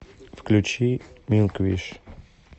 включи милквиш